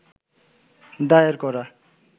দায়ের করা